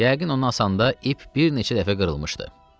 Yəqin o asanda ip bir neçə dəfə qırılmışdı.